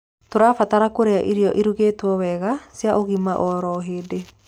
Tũrabatara kũrĩa irio irugitwo wega cia ũgima oro hĩndĩ